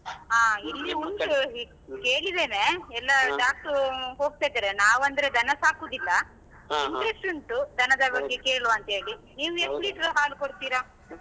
ಹಾ ಇಲ್ಲಿ ಉಂಟು ಈ ಕೇಳಿದೆನೆ ಎಲ್ಲ Doctor ರೂ ಹೋಗ್ತಿದರೆ ನಾವ್ ಅಂದ್ರೆ ದನ ಸಾಕುದಿಲ್ಲ interest ಉಂಟು ದನದ ಬಗ್ಗೆ ಕೇಳುವಾಂತ್ಹೇಳಿ ನೀವ್ ಎಸ್ಟ್ liter ರು ಹಾಲು ಕೊಡ್ತೀರಾ?